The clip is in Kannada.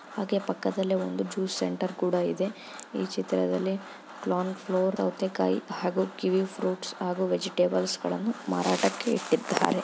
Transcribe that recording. ಹಾಗೆ ಪಕ್ಕದಲ್ಲಿ ಒಂದು ಜ್ಯೂಸ್ ಸೆಂಟರ್ ಕೂಡ ಇದೆ ಈ ಚಿತ್ರದಲ್ಲಿ ಕಾರ್ನ್ಫ್ಲೋರ್ ಸೌತೆಕಾಯಿ ಹಾಗು ಕಿವಿ ಫ್ರುಟ್ಸ್ ಹಾಗು ವೆಜೆಟೇಬಲ್ಸ್ ಗಳನ್ನು ಮಾರಾಟಕ್ಕೆ ಇಟ್ಟಿದ್ದಾರೆ.